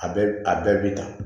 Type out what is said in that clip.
A bɛɛ a bɛɛ b'i ta